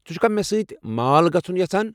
ژٕ چُھکھا مےٚ سۭتۍ مال گژُھن یژھان؟